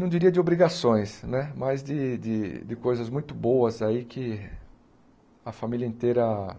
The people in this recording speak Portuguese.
Não diria de obrigações né, mas de de de coisas muito boas aí que a família inteira